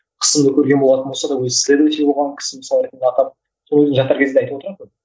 қысымды көрген болатын болса да өзі исследователь болған кісі мысалы ретінде атам сол енді жатар кезінде айтып отыратын